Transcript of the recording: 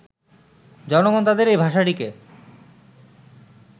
জনগণ তাঁদের এই ভাষাটিকে